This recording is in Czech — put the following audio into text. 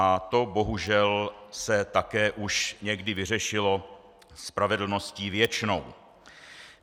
A to bohužel se také už někdy vyřešilo spravedlností věčnou.